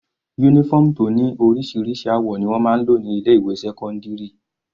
Uniform tó ní oríṣiríṣi àwọ̀ ni wọ́n máa ń lò ní ilé ìwé sẹ́cọ́ndírì.